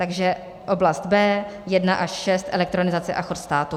Takže oblast B, 1 až 6, elektronizace a chod státu.